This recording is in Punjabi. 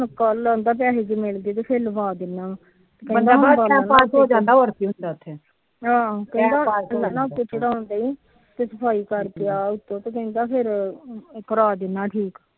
ਹੁਣ ਪੈਹੇ ਜੇ ਮਿਲਗੇ ਫਿਰ ਲਵਾ ਦਿੰਦਾ ਵਾ ਹਮ ਟੈਮ ਪਾਸ ਸਫਾਈ ਕਰਕੇ ਆ ਕਰਾ ਦਿੰਦਾ ਠੀਕ